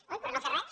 coi per no fer res